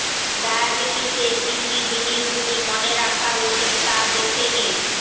ডায়াবিটিসে কী কী জিনিসগুলি মনে রাখা উচিত তা দেখে নিন